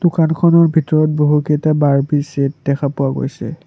দোকানখনৰ ভিতৰত বহুকেইটা বাৰ্বি ছেট দেখা পোৱা গৈছে।